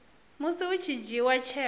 musi hu tshi dzhiiwa tsheo